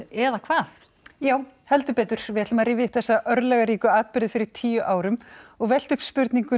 eða hvað já heldur betur við ætlum að rifja upp þessa örlagaríku atburði fyrir tíu árum og velta upp spurningum